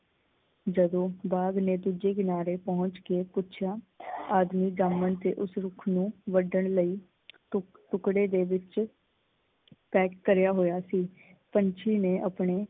ਜਦੋਂ ਬਾਗ ਦੇ ਦੂਜੇ ਕਿਨਾਰੇ ਪਹੁੰਚ ਕੇ ਪੁੱਛਿਆ ਆਦਮੀ ਜਾਮਣ ਦੇ ਉਸ ਰੁੱਖ ਨੂੰ ਵੱਡਣ ਲਈ ਟੁੱਕ ਟੁੱਕੜੇ ਦੇ ਵਿੱਚ ਪੈਕ ਕਰਿਆ ਹੋਇਆ ਸੀ। ਪੰਛੀ ਨੇ ਆਪਣੇ